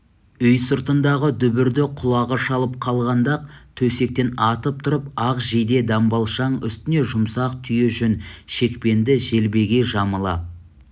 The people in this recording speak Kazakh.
үй сыртындағы дүбірді құлағы шалып қалғанда-ақ төсектен атып тұрып ақ жейде-дамбалшаң үстіне жұмсақ түйе жүн шекпенді желбегей жамыла